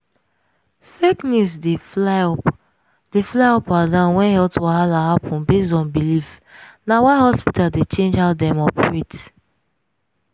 fake news dey fly up dey fly up and down when health wahala happen based on belief na why hospitals dey change how dem operate.